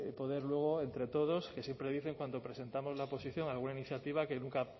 poder luego entre todos que siempre dicen cuando presentamos la oposición alguna iniciativa que nunca